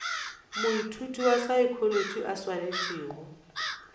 moithuti wa saekholotši a swanetšego